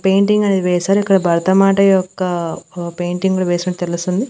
Painting అనేది వేశారు ఇక్కడ భరటమాట యొక్క ఆ పెయింటింగ్ కుడా వేసినట్టు తెలుస్తుంది.